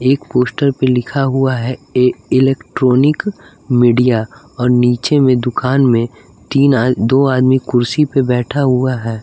एक पोस्टर पे लिखा हुआ है इलेक्ट्रॉनिक मीडिया और नीचे में दुकान में तीन दो आदमी कुर्सी पे बैठा हुआ है।